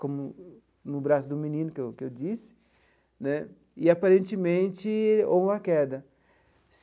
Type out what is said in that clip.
como no braço do menino que eu que eu disse né, e aparentemente ou a queda.